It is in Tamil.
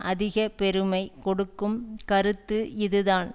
அதிக பெருமை கொடுக்கும் கருத்து இது தான்